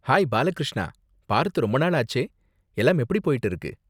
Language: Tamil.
ஹாய் பாலகிருஷ்ணா, பார்த்து ரொம்ப நாள் ஆச்சே. எல்லாம் எப்படி போய்ட்டு இருக்கு?